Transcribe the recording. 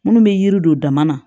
Minnu bɛ yiri don dama na